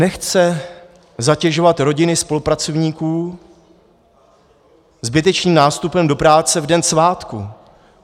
Nechce zatěžovat rodiny spolupracovníků zbytečným nástupem do práce v den svátku.